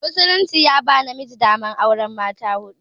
Musulunci ya ba namiji daman auran mata huɗu.